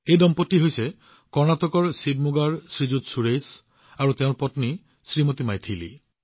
এয়া কৰ্ণাটকৰ শিৱমোগাৰ এহাল দম্পতী শ্ৰীমান সুৰেশ আৰু তেওঁৰ পত্নী শ্ৰীমতী মৈথিলী